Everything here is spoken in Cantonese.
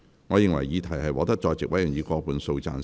我認為議題獲得在席委員以過半數贊成。